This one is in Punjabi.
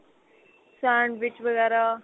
sandwich ਵਗੈਰਾ